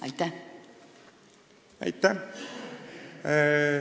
Aitäh!